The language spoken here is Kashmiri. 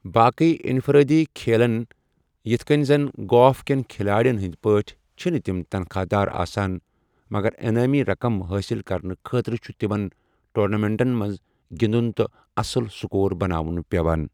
باقٕے انفرٲدی کھیلن یتھ کٔنہِ زِ گولف کٮ۪ن کھلاڑٮ۪ن ہٕنٛدِ پٲٹھۍ چھِنہٕ تِم تنخواہ دار آسان، مگر انعٲمی رقم حٲصِل کرنہٕ خٲطرٕ چھُ تمن ٹورنامنٹَن منٛز گِنٛدُن تہٕ اصٕل سکوربناوٗن پٮ۪وان ۔